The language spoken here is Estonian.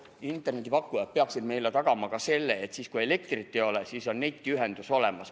Internetipakkujad peaksid meile tagama ka selle, et kui elektrit ei ole, siis on netiühendus olemas.